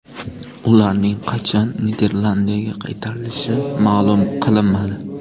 Ularning qachon Niderlandiyaga qaytarilishi ma’lum qilinmadi.